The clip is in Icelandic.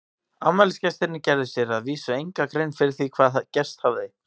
Afmælisgestirnir gerðu sér að vísu enga grein fyrir því hvað gerst hafði.